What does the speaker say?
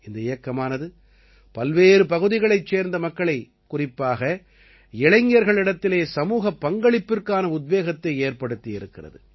இந்த இயக்கமானது பல்வேறு பகுதிகளைச் சேர்ந்த மக்களை குறிப்பாக இளைஞர்களிடத்திலே சமூகப் பங்களிப்பிற்கான உத்வேகத்தை ஏற்படுத்தியிருக்கிறது